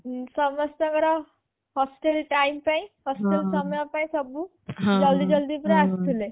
ଉଁ ସମସ୍ତଙ୍କର hostel time ପାଇଁ hostel ସମୟ ପାଇଁ ସବୁ ଜଲଦୀ ଜଲଦୀ ପୁରା ଆସୁଥିଲେ